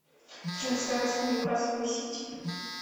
трансляция ньюкасла и сити